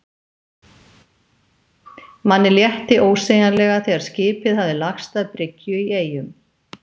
Manni létti ósegjanlega þegar skipið hafði lagst að bryggju í Eyjum.